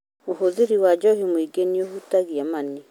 ũhũthĩri wa njohi mũingĩ nĩuhutagia mani.